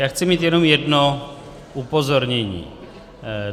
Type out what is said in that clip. Já chci mít jenom jedno upozornění.